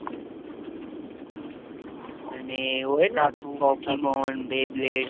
અને એવો હોય ને પોકીમોન બે બ્લેડ